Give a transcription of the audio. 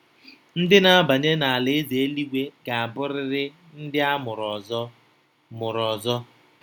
Ndị na-abanye n’Alaeze eluigwe ga-abụrịrị “ndị a mụrụ ọzọ.” mụrụ ọzọ.”